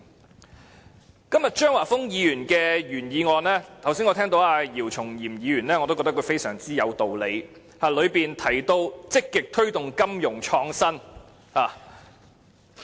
就今天張華峰議員提出的原議案，我認為剛才姚松炎議員的發言很有道理，當中提到積極推動金融創新。